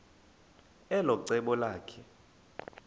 elo cebo lakhe